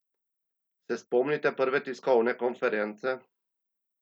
Se spomnite prve tiskovne konference?